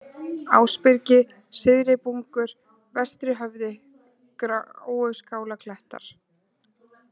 Ásbyrgi, Syðri-Bungur, Vestrihöfði, Gráuskálarklettar